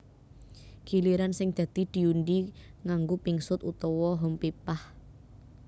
Giliran sing dadi diundhi nganggo pingsut utawa hompimpah